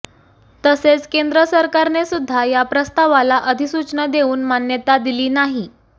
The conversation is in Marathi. तसेच केंद्र सरकारनेसुध्दा या प्रस्तावाला अधिसुचना देवून मान्यता दिली नाही